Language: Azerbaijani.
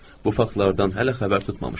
Bu faktlardan hələ xəbər tutmamışdım.